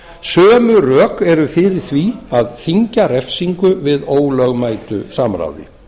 sömu rök eru fyrir því að þyngja refsingu við ólögmætu samráði